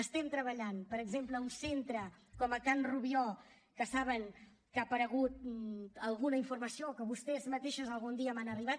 estem treballant per exemple en un centre com can rubió que saben que ha aparegut alguna informació que vostès mateixes algun dia m’han fet arribar